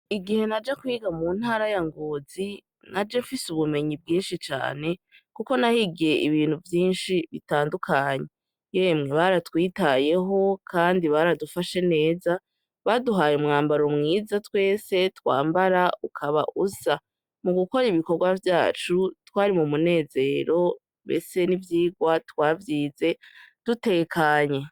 Igihe naja kwiga mu ntara ya Ngozi naje mfise ubumenyi bwinshi cane kuko nahigiye ibintu vyinshi bitandukanye, yemwe baratwitayeho kandi baradufashe neza baduhaye umwambaro mwiza twese twambara ukaba usa mugukora ibikorwa vyacu twari mumunezero ndeste nivyigwa twavyize dutekanye.